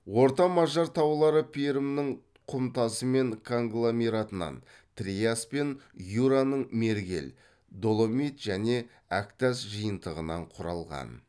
орта мажар таулары перімнің құм тасы мен конгломератынан триас пен юраның мергел доломит және әктас жиынтығынан құрылған